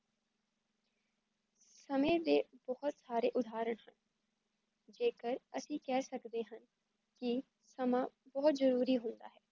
ਸਮੇ ਦੇ ਬਹੁਤ ਸਾਰੇ ਉਦਾਹਰਨ ਹਾ ਜੇਕਰ ਅਸੀ ਕੇਹ ਸਕਦੇ ਹਾ ਕੀ ਸਮਾਂ ਬਹੁਤ ਜਰੂਰੀ ਹੁੰਦਾ ਹੈ